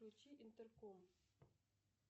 включи интерком